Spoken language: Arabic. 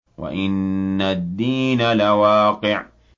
وَإِنَّ الدِّينَ لَوَاقِعٌ